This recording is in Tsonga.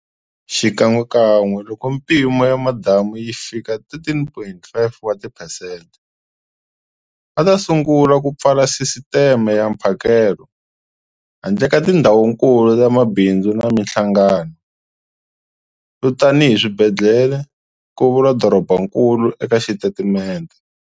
Xikan'wekan'we loko mimpimo ya madamu yi fika 13.5 wa tiphesente, va ta sungula ku pfala sisiteme ya mphakelo, handle ka tindhawukulu ta mabindzu na mihlangano, yo tanihi swibedhlele, ku vula dorobankulu eka xitatimente.